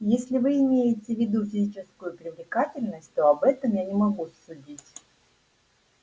если вы имеете в виду физическую привлекательность то об этом я не могу судить